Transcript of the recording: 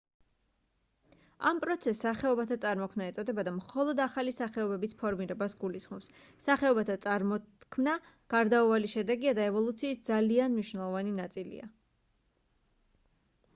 ამ პროცესს სახეობათა წარმოქმნა ეწოდება და მხოლოდ ახალი სახეობების ფორმირებას გულისხმობს სახეობათა წარმოქმნა გარდაუვალი შედეგია და ევოლუციის ძალიან მნიშვნელოვანი ნაწილია